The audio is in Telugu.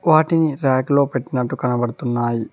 వాటిని ర్యాక్ లో పెట్టినట్టు కనబడుతున్నాయి.